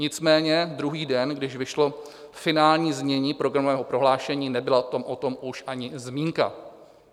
Nicméně druhý den, když vyšlo finální znění programového prohlášení, nebyla o tom už ani zmínka.